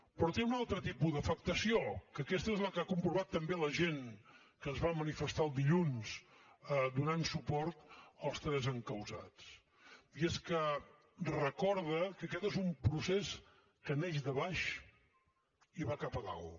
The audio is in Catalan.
però té un altre tipus d’afectació que aquesta és la que ha comprovat també la gent que es va manifestar el dilluns donant suport als tres encausats i és que recorda que aquest és un procés que neix de baix i va cap a dalt